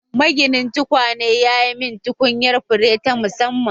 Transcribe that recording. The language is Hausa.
Maginin tukwane ya yi mani tukunyar fure ta musamman